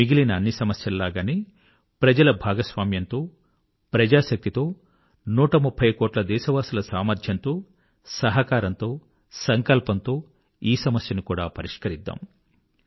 మిగిలిన అన్ని సమస్యలలాగే ప్రజల భాగస్వామ్యంతో ప్రజాశక్తితో నూటముప్ఫై కోట్ల దేశవాసుల సామర్థ్యంతో సహకారంతో సంకల్పంతో ఈ సమస్యను కూడా పరిష్కరిద్దాం